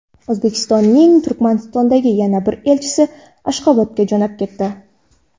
O‘zbekistonning Turkmanistondagi yangi elchisi Ashxobodga jo‘nab ketdi.